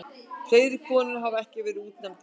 Fleiri konur hafa ekki verið útnefndar.